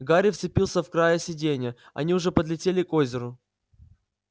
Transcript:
гарри вцепился в края сиденья они уже подлетели к озеру